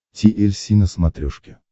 ти эль си на смотрешке